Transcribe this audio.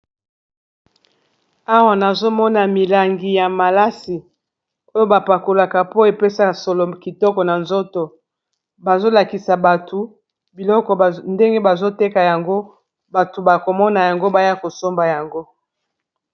Awa nazomona milangi ya malasi oyo ba pakolaka po epesa solo kitoko na nzoto bazolakisa batu biloko ndenge bazoteka yango batu bakomona yango baya kosomba yango.